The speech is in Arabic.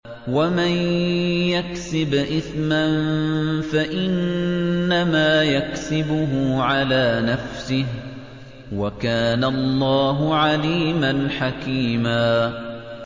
وَمَن يَكْسِبْ إِثْمًا فَإِنَّمَا يَكْسِبُهُ عَلَىٰ نَفْسِهِ ۚ وَكَانَ اللَّهُ عَلِيمًا حَكِيمًا